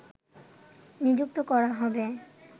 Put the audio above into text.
নিযুক্ত করা যাবে